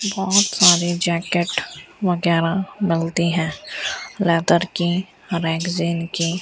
बहोत सारे जैकेट वगैरा बनती है लेदर की रैकजिन की।